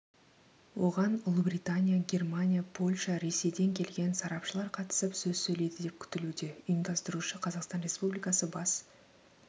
оған ұлыбритания германия польша ресейден келген сарапшылар қатысып сөз сөйлейді деп күтілуде ұйымдастырушы қазақстан республикасы бас